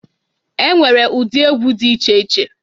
E nwere ụdị egwu dị iche iche.